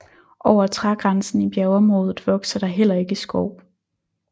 Over trægrænsen i bjergområdet vokser der heller ikke skov